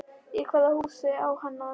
Í hvaða hús á hann að venda?